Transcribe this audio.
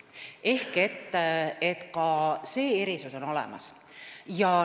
Ehk ka see erisus on olemas.